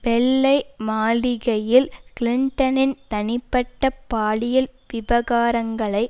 வெள்ளை மாளிகையில் கிளின்டனின் தனிப்பட்ட பாலியல் விவகாரங்களை